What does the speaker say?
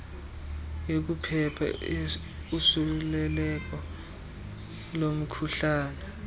yokuphepha usuleleko lomkhuhlane